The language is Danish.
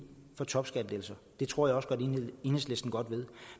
for topskattelettelser det tror jeg også enhedslisten godt ved